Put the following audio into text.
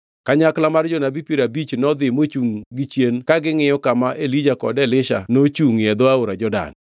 Kanyakla mar jonabi piero abich nodhi mochungʼ gichien ka gingʼiyo kama Elija kod Elisha nochungʼie e dho aora Jordan.